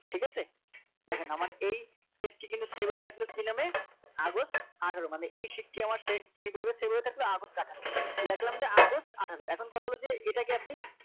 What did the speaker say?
ঠিক আছে দেখেন আমার এই text টি কিন্তু save হয়ে থাকল কি নামে আগস্ট আঠারো মানে এই shift টি আমার কিভাবে save হয়ে থাকলো আগস্ট আঠারো লিখলাম যে আগস্ট আঠারো এখন কত হলো যে এটা কে আপনি